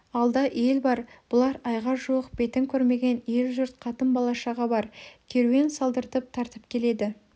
алда ел бар бұлар айға жуық бетін көрмеген ел-жұрт қатын бала-шаға бар керуен салдыртып тартып келеді